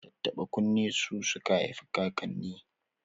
Tattaɓa kunne su suka haifikakanni